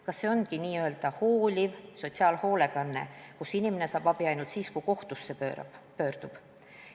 Kas see ongi hooliv sotsiaalhoolekanne, kui inimene saab abi ainult siis, kui kohtusse pöördub?